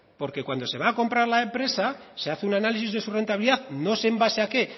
porque cuando se va a comprar la empresa se hace un análisis de su rentabilidad no sé en base a qué